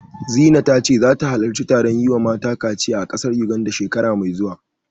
Zina ta ce zata halarci taron yi wa mata kaciya a ƙasar Yuganda, shekara mai zuwa.